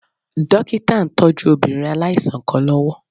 Dókítà ń tọ́jú obìnrin aláìsàn kan lọ́wọ́